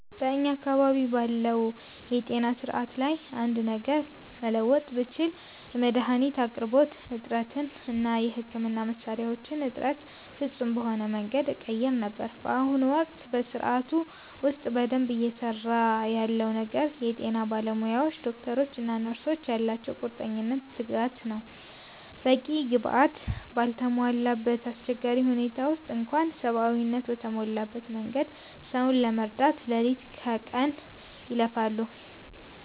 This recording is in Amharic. በእኛ አካባቢ ባለው የጤና ሥርዓት ላይ አንድ ነገር መለወጥ ብችል፣ የመድኃኒት አቅርቦት እጥረትን እና የሕክምና መሣሪያዎችን እጥረት ፍጹም በሆነ መንገድ እቀይር ነበር። በአሁኑ ወቅት በሥርዓቱ ውስጥ በደንብ እየሠራ ያለው ነገር የጤና ባለሙያዎቻችን (ዶክተሮች እና ነርሶች) ያላቸው ቁርጠኝነትና ትጋት ነው። በቂ ግብዓት ባልተሟላበት አስቸጋሪ ሁኔታ ውስጥ እንኳ ሰብአዊነት በተሞላበት መንገድ ሰውን ለመርዳት ሌሊት ከቀን ይለፋሉ።